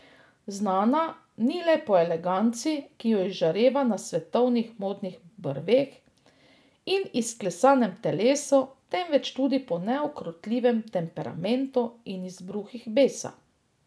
Znana ni le po eleganci, ki jo izžareva na svetovnih modnih brveh, in izklesanem telesu, temveč tudi po neukrotljivem temperamentu in izbruhih besa.